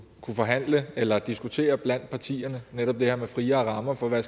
kunne forhandle eller diskutere blandt partierne netop det her med friere rammer for hvad